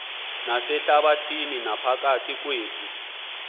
nasehlabathini naphakathi kwethu